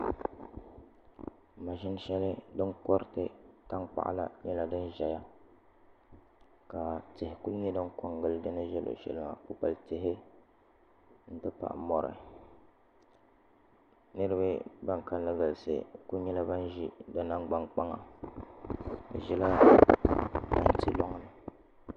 Maʒini shɛli din koriti tankpaɣu la nyɛla din ʒɛya ka tihi ku nyɛ din ko n gili di ni bɛ luɣushɛli maa kpukpali tihi n ti pahi mori niraba ban kanli galisi ku nyɛla ban ʒi di nangbani kpaŋa bi ʒila tanti loŋni